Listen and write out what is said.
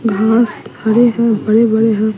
हाथ खड़े हैं बड़े-बड़े हैं।